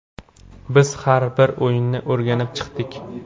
Biz har bir o‘yinni o‘rganib chiqdik.